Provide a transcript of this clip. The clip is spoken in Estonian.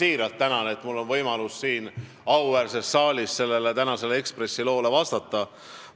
Ma siiralt tänan, et mul on võimalus siin auväärses saalis Eesti Ekspressi tänasele loole vastata.